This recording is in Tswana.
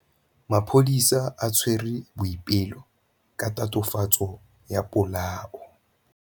Maphodisa a tshwere Boipelo ka tatofatsô ya polaô.